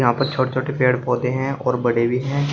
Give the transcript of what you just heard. यहां पर छोटे छोटे पेड़ पौधे हैं और बड़े भी हैं।